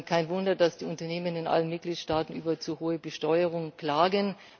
Kein Wunder, dass die Unternehmen in allen Mitgliedstaaten über zu hohe Besteuerung klagen.